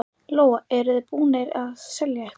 Lóa: Eruð þið búnir að selja eitthvað?